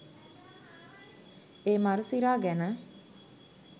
ඒ මරු සිරා ගැන